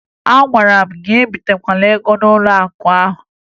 Agwara m gị ebitekwala ego n'ụlọakụ ahụ!